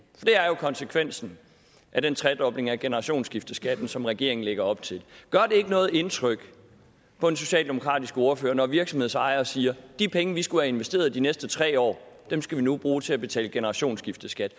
konsekvensen af den tredobling af generationsskifteskatten som regeringen lægger op til gør det ikke noget indtryk på en socialdemokratisk ordfører når virksomhedsejere siger de penge vi skulle have investeret de næste tre år skal vi nu bruge til at betale generationsskifteskat